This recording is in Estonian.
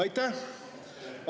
Aitäh!